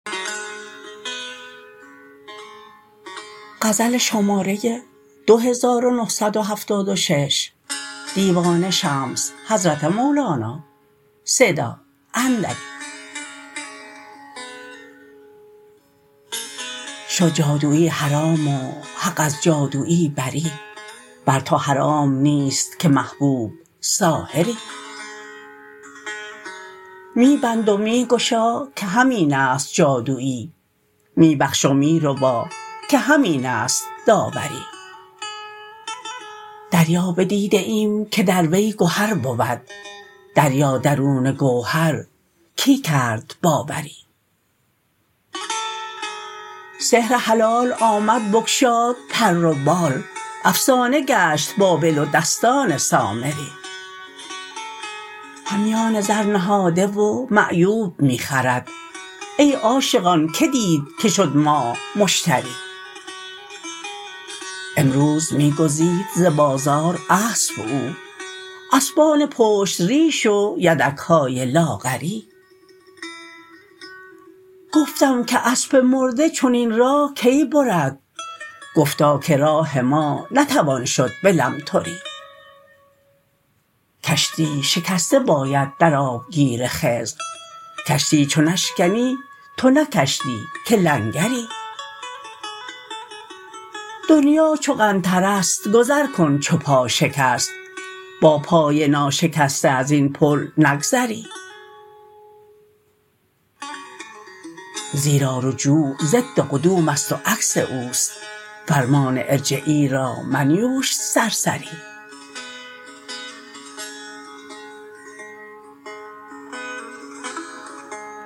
شد جادوی حرام و حق از جادوی بری بر تو حرام نیست که محبوب ساحری می بند و می گشا که همین است جادوی می بخش و می ربا که همین است داوری دریا بدیده ایم که در وی گهر بود دریا درون گوهر کی کرد باوری سحر حلال آمد بگشاد پر و بال افسانه گشت بابل و دستان سامری همیان زر نهاده و معیوب می خرد ای عاشقان کی دید که شد ماه مشتری امروز می گزید ز بازار اسپ او اسپان پشت ریش و یدک های لاغری گفتم که اسب مرده چنین راه کی برد گفتا که راه ما نتوان شد به لمتری کشتی شکسته باید در آبگیر خضر کشتی چو نشکنی تو نه کشتی که لنگری دنیا چو قنطره ست گذر کن چو پا شکست با پای ناشکسته از این پول نگذری زیرا رجوع ضد قدوم است و عکس او است فرمان ارجعی را منیوش سرسری